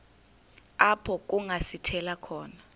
apho kungasithela khona